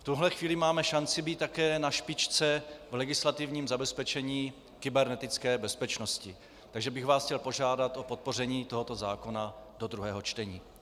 V tuhle chvíli máme šanci být také na špičce v legislativním zabezpečení kybernetické bezpečnosti, takže bych vás chtěl požádat o podpoření tohoto zákona do druhého čtení.